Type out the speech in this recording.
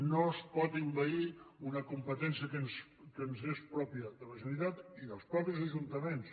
no es pot envair una competència que ens és pròpia de la generalitat i dels mateixos ajuntaments